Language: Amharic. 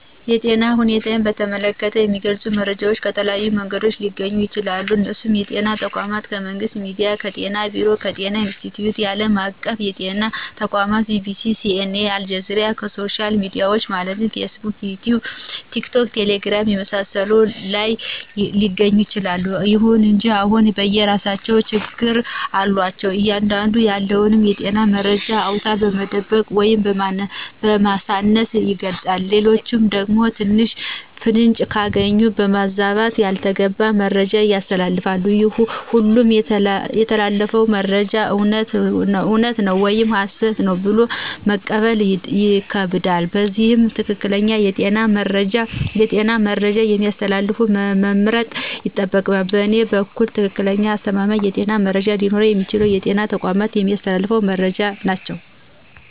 የጤና ሁኔታን በተመለከተ የሚገልጹ መረጃዎች ከተለያዩ መንገዶች ሊገኙ ይችላሉ እነሱም ከጤና ተቋማት :ከመንግስት ሚዲያዎች :ከጤና ቢሮ :ከጤና ኢንስትቲዮት :ከአለም አቀፍ የጤና ተቋማት :BBC :CNA :አልጀዚራና ከሶሻል ሚዲያዎች ማለትም ፌስቡክ: ይቲዩብ :ቲክቶክና ቴሌግራም የመሳሰሉት ላይ ሊገኝ ይችላል። ይሁን እንጂ ሁሉም የየራሳቸው ችግሮች አሏቸው አንዳንዱ ያለውን የጤና መረጃ አውነታውን በመደበቅ ወይም በማሳነስ ይገልጻል ሌላኛው ደግሞ ትንሽ ፍንጭ ካገኘ በማባዛት ያልተገባ መረጃ ያስተላልፋል ሁሉም የሚተላለፉት መረጃዎች እውነት ነው ወይም ሀሰት ነው ብሎ መቀበል ይከብዳል ስለዚህ ትክክለኛ የጤና መረጃ የሚያስተላልፈውን መምረጥ ይጠይቃል በእኔ በኩል ትክክለኛና አስተማማኝ የጤና መረጃ ሊኖረው የሚችለው በጤና ተቋማት የሚተላለፉት መረጃዎች ናቸው